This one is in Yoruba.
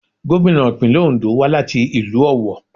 Gómìnà ìpínlẹ̀ Òńdó wá láti ìlú Ọ̀wọ̀.